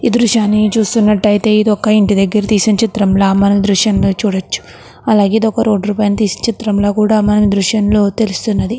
ఈ దృశ్యాన్ని చూస్తునట్టయితే ఇది ఒక ఇంటిన దెగ్గర తీసిన చిత్రం ల మనం దృశ్యంలో చూడొచ్చు అలాగే ఇదొక పైన తీసిన చిత్రం ల కూడా మన దృశ్యంలో తెలుస్తున్నది.